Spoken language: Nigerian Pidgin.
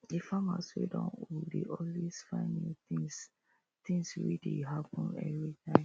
the farmers wey don old dey always find new tins tins wey dey happen everytime